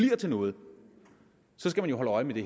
til noget skal vi jo holde øje med det